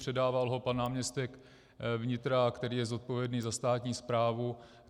Předával ho pan náměstek vnitra, který je zodpovědný za státní správu.